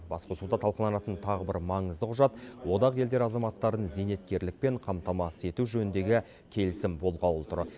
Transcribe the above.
басқосуда талқыланатын тағы бір маңызды құжат одақ елдері азаматтарын зейнеткерлікпен қамтамасыз ету жөніндегі келісім болғалы тұр